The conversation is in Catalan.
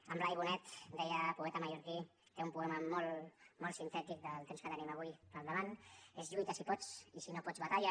en blai bonet deia poeta mallorquí que té un poema molt sintètic del temps que tenim avui al davant lluita si pots i si no pots batalla